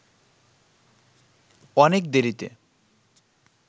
অনেক দেরিতে